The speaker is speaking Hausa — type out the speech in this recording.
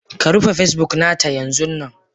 Ka rufe Facebook na ta yanzunnan.